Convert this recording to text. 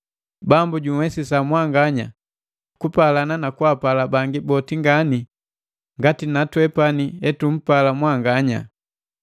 Bambu junhwesisa mwanganya kupalana na kwaapala bangi boti ngani ngati na twepani hetumpala mwanganya.